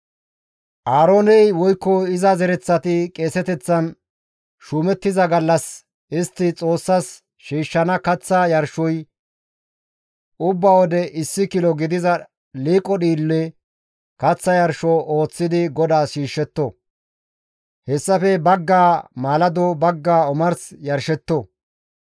«Aarooney woykko iza zereththati qeeseteththan shuumettiza gallas istti Xoossas shiishshana kaththa yarshoy ubba wode issi kilo gidiza liiqo dhiille kaththa yarsho ooththidi GODAAS shiishshetto; hessafe baggaa maalado, baggaa omars yarshetto.